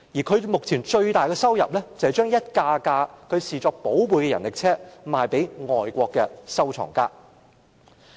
他最大的心願，是將一輛輛他視作寶貝的人力車賣給外國的收藏家。